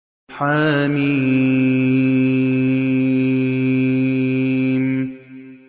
حم